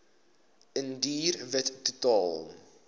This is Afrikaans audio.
indiër wit totaal